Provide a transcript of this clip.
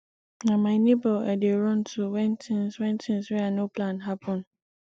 na my nebor i dey run to wen tins wen tins wey i no plan happen